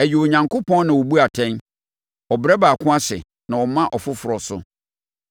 Ɛyɛ Onyankopɔn na ɔbu atɛn: Ɔbrɛ ɔbaako ase, na ɔma ɔfoforɔ so.